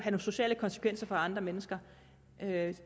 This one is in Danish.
sociale konsekvenser for andre mennesker